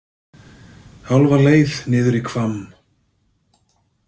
Hálfa leið niður í Hvamm.